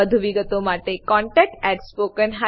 વધુ વિગતો માટે કૃપા કરી contactspoken tutorialorg પર લખો